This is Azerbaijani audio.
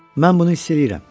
Mən bunu hiss eləyirəm.